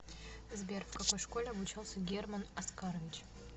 сбер в какой школе обучался герман оскарович